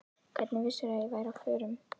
Hvernig vissirðu að ég væri á förum?